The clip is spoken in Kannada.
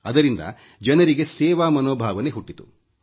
ಅದರಿಂದ ಜನರಿಗೆ ಸೇವಾ ಮನೋಭಾವನೆ ಹುಟ್ಟಿತು